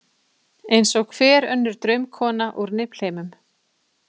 Eins og hver önnur draumkona úr Niflheimum.